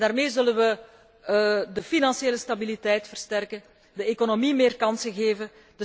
Daarmee zullen wij de financiële stabiliteit versterken en de economie meer kansen geven.